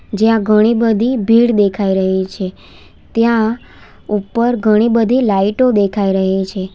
જ્યાં ઘણી બધી ભીડ દેખાઈ રહી છે ત્યાં ઉપર ઘણી બધી લાઈટો દેખાઈ રહી છે.